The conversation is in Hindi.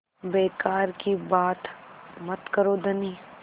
बेकार की बात मत करो धनी